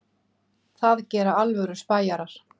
Það gera alvöru spæjarar.